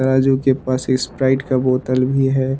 राजू के पास स्प्राइट का बोतल भी है।